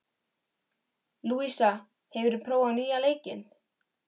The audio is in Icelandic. Lúísa, hefur þú prófað nýja leikinn?